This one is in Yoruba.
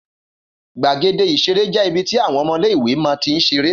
Gbàgéde ìṣeré jé ibi tí àwọn ọmọ iléìwè má n tín ṣeré